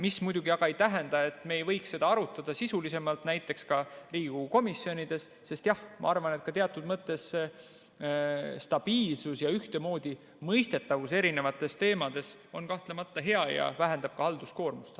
See muidugi ei tähenda, et me ei võiks seda arutada sisulisemalt näiteks ka Riigikogu komisjonides, sest jah, ma arvan, et teatud mõttes stabiilsus ja ühtemoodi mõistetavus eri teemades on kahtlemata hea ja vähendab ka halduskoormust.